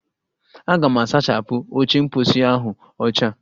Aga m asachapụ oche mposi ahụ ọcha